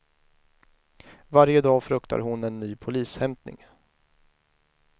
Varje dag fruktar hon en ny polishämtning.